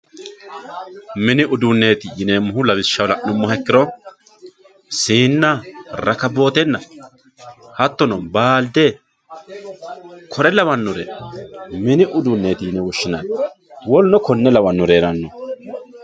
Mini uduuneti yinemohu lawishshaho lanemoha ikirosiina rakawotena hattono baalde w.k.l mini uduunet yine woshinani w.k.l.